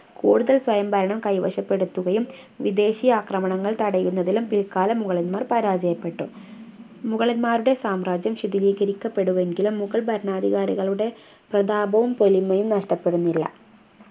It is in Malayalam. കൂടുതൽ സ്വയംഭരണം കൈവശപ്പെടുത്തുകയും വിദേശി ആക്രമണങ്ങൾ തടയുന്നതിലും പിൽക്കാല മുഗളന്മാർ പരാജയപ്പെട്ടു മുഗളമാരുടെ സാമ്രാജ്യം ശിഥിലീകരിക്കപ്പെടുകെങ്കിലും മുഗൾ ഭരണാധികാരികളുടെ പ്രതാപവും പൊലിമയും നഷ്ടപ്പെടുന്നില്ല